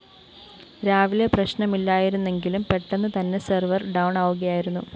രാവിലെ പ്രശ്നമില്ലായിരുന്നെങ്കിലും പെട്ടെന്ന് തന്നെ സെർവർ ഡൗണാകുകയായിരുന്നു